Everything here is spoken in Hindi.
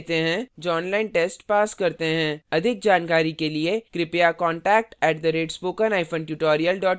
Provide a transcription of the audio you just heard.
अधिक जानकारी के लिए कृपया contact @spokentutorial org पर लिखें